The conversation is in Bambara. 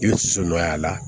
I bɛ son nɔ y'a la